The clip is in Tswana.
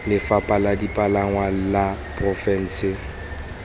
lefapha la dipalangwa la porofense